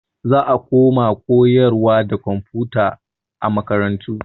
Za a koma koyarwa da komfuta a makarantu.